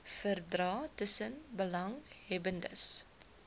verdrae tussen belanghebbendes